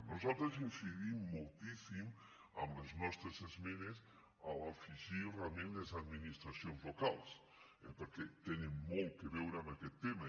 nosaltres incidim moltíssim amb les nostres esmenes a afegir·hi realment les administracions locals perquè tenen molt a veure amb aquest tema